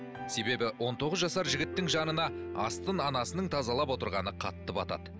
себебі он тоғыз жасар жігіттің жанына астын анасының тазалап отырғаны қатты батады